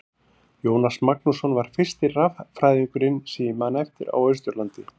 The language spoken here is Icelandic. Jónas Magnússon var fyrsti raffræðingurinn sem ég man eftir á Austurlandi.